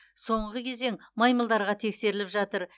соңғы кезең маймылдарға тексеріліп жатыр